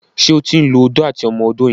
ṣe o tin ló Odó àti ọmọ odó yen?